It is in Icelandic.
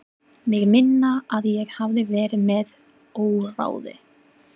Mig minnir að ég hafi verið með óráði.